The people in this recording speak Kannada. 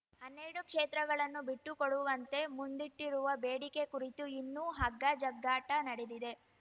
ಹನ್ನೆರಡು ಕ್ಷೇತ್ರಗಳನ್ನು ಬಿಟ್ಟುಕೊಡುವಂತೆ ಮುಂದಿಟ್ಟಿರುವ ಬೇಡಿಕೆ ಕುರಿತು ಇನ್ನೂ ಹಗ್ಗಜಗ್ಗಾಟ ನಡೆದಿದೆ